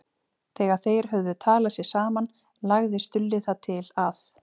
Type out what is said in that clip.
Þegar þeir höfðu talað sig saman lagði Stulli það til að